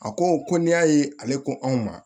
A ko ko n'i y'a ye ale ko anw ma